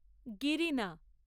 Girna